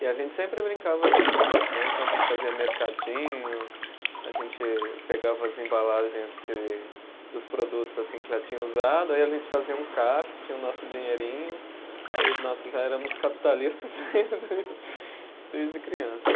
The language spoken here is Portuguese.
E a gente sempre brincava junto né, então a gente fazia mercadinho, a gente pegava as embalagens de dos produtos assim que já tinha usado, aí a gente fazia um caixa, tinha o nosso dinheirinho, aí nós já éramos capitalistas desde desde crianças.